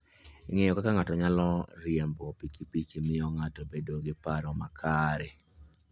Ng'eyo kaka ng'ato nyalo riembo pikipiki miyo ng'ato bedo gi paro makare.